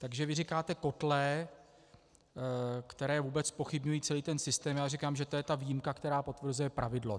Takže vy říkáte kotle, které vůbec zpochybňují celý ten systém, já říkám, že to je ta výjimka, která potvrzuje pravidlo.